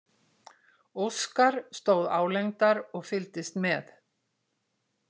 Óskar stóð álengdar og fylgdist með.